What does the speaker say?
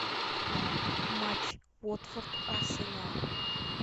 матч уотфорд арсенал